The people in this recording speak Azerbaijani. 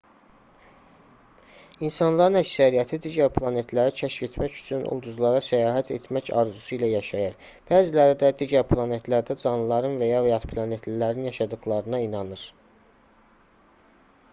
i̇nsanların əksəriyyəti digər planetləri kəşf etmək üçün ulduzlara səyahət etmək arzusu ilə yaşayır bəziləri də digər planetlərdə canlıların və ya yadplanetlilərin yaşadıqlarına inanır